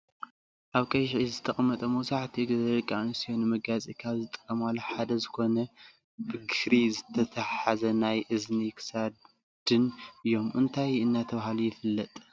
ኣብ ቀይሕ ኢድ ዝተቀመጠ መብዛሒትኡ ግዜ ደቂ ኣንስትዮ ንመጋየፂ ካብ ዝጥቀማሉ ሓደ ዝኮነ ብክሪ ዝተታሓሐዘ ናይ እዝኒን ክሳድን እዮም። እንታይ እናተባህለ ይፍላጥ?